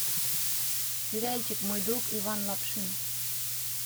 сериальчик мой друг иван лапшин